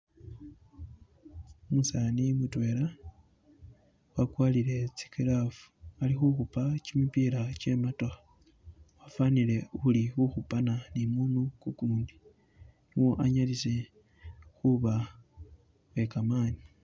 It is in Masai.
Umusani mutwela wagwarile tsi glove ali khukhupa gimipila gye mootokha wafanile uli khukhupana ni umundu gugundi anyalise khuba ni gamani.